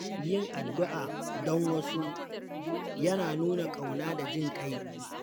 Yin addu’a don wasu yana nuna ƙauna da jin ƙai.